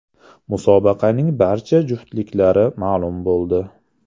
Musobaqaning barcha juftliklari ma’lum bo‘ldi.